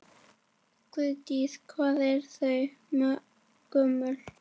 Guðný: Hvað ert þú gömul?